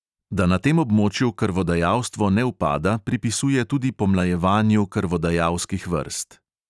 Da na tem območju krvodajalstvo ne upada, pripisuje tudi pomlajevanju krvodajalskih vrst.